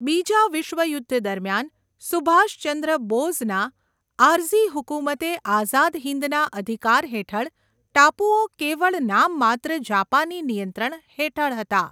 બીજા વિશ્વયુદ્ધ દરમિયાન, સુભાષચંદ્ર બોઝના આર્ઝી હુકુમતે આઝાદ હિંદના અધિકાર હેઠળ ટાપુઓ કેવળ નામમાત્ર જાપાની નિયંત્રણ હેઠળ હતા.